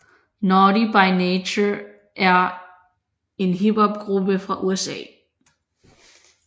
Naughty by Nature er en Hip Hop gruppe fra USA